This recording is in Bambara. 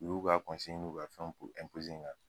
U y'u ka n'u ka fɛn n kan